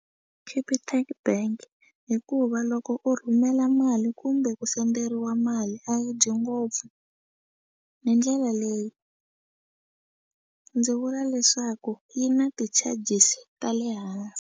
Capitec Bank hikuva loko u rhumela mali kumbe ku senderiwa mali a yi dyi ngopfu hi ndlela leyi ndzi vula leswaku yi na ti-charges ta le hansi.